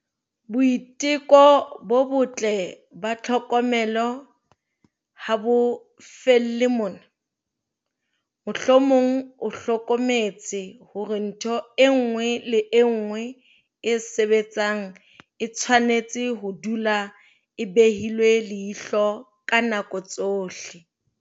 Boiteko bo botle ba tlhokomelo ha bo felle mona. Mohlomong o hlokometse hore ntho e nngwe le e nngwe e sebetsang e tshwanetse ho dula e behilwe leihlo ka nako tsohle.